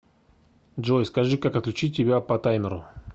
джой скажи как отключить тебя по таймеру